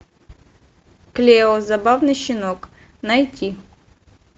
клео забавный щенок найти